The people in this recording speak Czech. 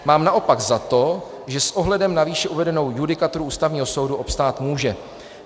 Mám naopak za to, že s ohledem na výše uvedenou judikaturu Ústavního soudu obstát může."